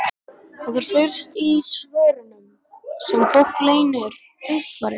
Það er fyrst í svörunum sem fólk leynir einhverju.